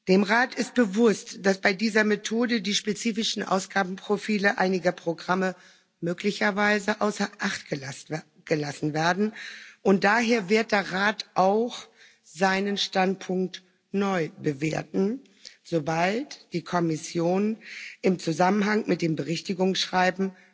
Dem Rat ist bewusst, dass bei dieser Methode die spezifischen Ausgabenprofile einiger Programme möglicherweise außer Acht gelassen werden, und daher wird der Rat auch seinen Standpunkt neu bewerten, sobald die Kommission im Zusammenhang mit dem Berichtigungsschreiben